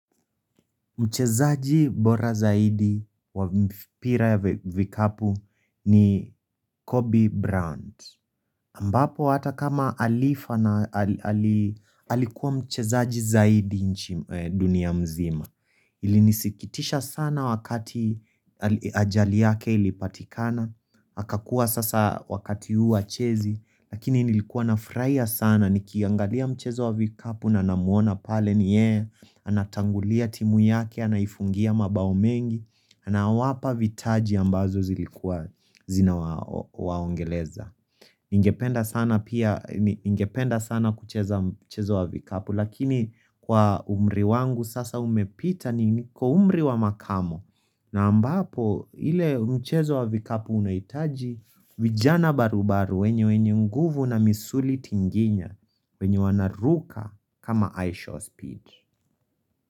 Mchezaji bora zaidi wa mpira wa vikapu ni Kobe Brand. Ambapo hata kama alifa na alikuwa mchezaji zaidi nchi dunia mzima. Ilinisikitisha sana wakati ajari yake ilipatikana. Hakakuwa sasa wakati huu achezi. Lakini nilikuwa na frahia sana. Nikiangalia mchezo wa vikapu na namuona pale ni ye Anatangulia timu yake, anaifungia mabao mengi ana wapa vitaji ambazo zina waongeleza Ingependa sana kucheza mchezo wa vikapu Lakini kwa umri wangu sasa umepita niko umri wa makamo na ambapo ile mchezo wa vikapu unaitaji vijana baru baru wenye wenye nguvu na misuli tinginya wenye wana ruka kama i-show speed.